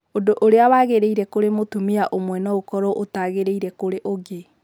Ũndũ ũrĩa wagĩrĩire kũrĩ mũtumia ũmwe no ũkorũo ũtaagĩrĩire kũrĩ ũngĩ.